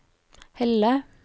Helle